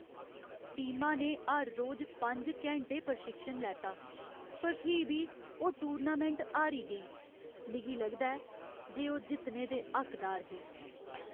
टीमा ने हर रोज पंज घैंटे प्रशिक्षण लैता पर फ्ही बी ओह् टूर्नामैंट हारी गेई। मिगी लगदा ऐ जे ओह् जित्तने दे हक्कदार हे।